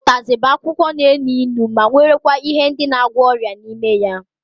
Utazi